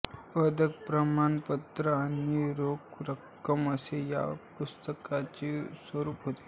पदक प्रमाण पत्र आणि रोख रक्कम असे या पुरस्काराचे स्वरूप आहे